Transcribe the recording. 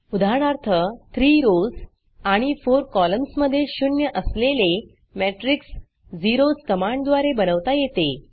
उदाहरणार्थ 3 रॉव्स आणि 4 कॉलम्स मधे शून्य असलेले मॅट्रिक्स झेरोस कमांडद्वारे बनवता येते